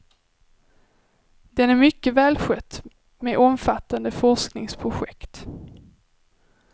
Den är mycket välskött, med omfattande forskningsprojekt.